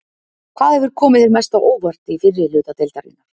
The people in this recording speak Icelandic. Hvað hefur komið þér mest á óvart í fyrri hluta deildarinnar?